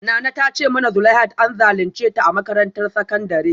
Nana ta ce mana zuleihat an zalunce ta a makarantar sakandare